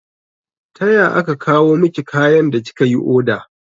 Taya aka kawo miki kayan da kika yi oda?